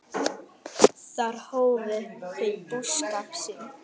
Þar hófu þau búskap sinn.